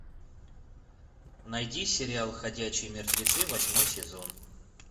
найди сериал ходячие мертвецы восьмой сезон